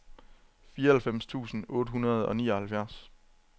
fireoghalvfems tusind otte hundrede og nioghalvfjerds